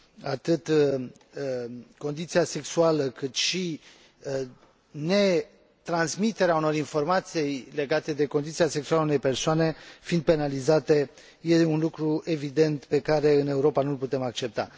atât condiția sexuală, cât și netransmiterea unor informații legate de condiția sexuală a unei persoane fiind penalizate, este un lucru evident, pe care în Europa nu îl putem accepta.